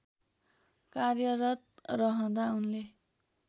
कार्यरत रहँदा उनले